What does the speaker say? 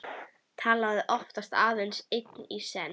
Talaði oftast aðeins einn í senn.